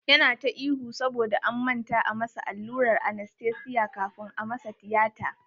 Yana ta ihu saboda an manta a masa allurar anastesiya kafun a masa tiyata.